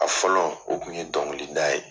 A fɔlɔ o kun ye dɔnkilida ye.